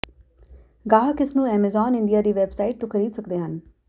ਗਾਹਕ ਇਸ ਨੂੰ ਐਮਾਜ਼ੋਨ ਇੰਡੀਆ ਦੀ ਵੈੱਬਸਾਈਟ ਤੋਂ ਖਰੀਦ ਸਕਦੇ ਹਨ